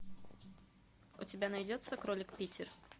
у тебя найдется кролик питер